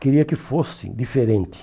Queria que fosse diferente.